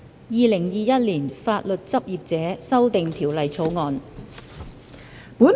《2021年法律執業者條例草案》。